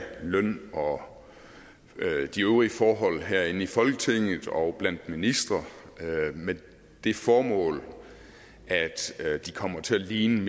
løn og de øvrige forhold herinde i folketinget og blandt ministre med det formål at de kommer til at ligne